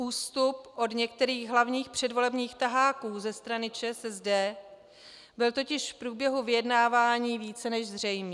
Ústup od některých hlavních předvolebních taháků ze strany ČSSD byl totiž v průběhu vyjednávání více než zřejmý.